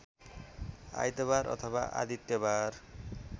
आइतवार अथवा आदित्यवार